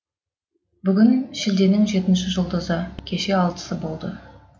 бүгін шілденің жетінші жұлдызы кеше алтысы болды